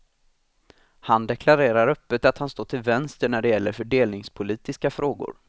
Han deklarerar öppet att han står till vänster när det gäller fördelningspolitiska frågor.